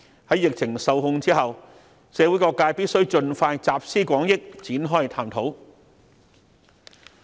在疫情受控後，社會各界必須盡快集思廣益，展開探討。